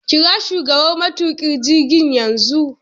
Kira shugaban matuƙa jirgin yanzu